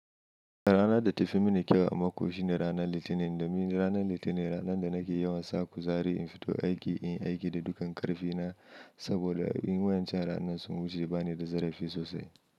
Rana da ta fi mini kyau a mako shine ranar Litinin, domin ranar Litinin rana da nake yawan sa kuzari in fito aiki, in yi aiki da dukan ƙarfi na. Saboda in wayan can ranan sun wuce bani da zarafi sosai.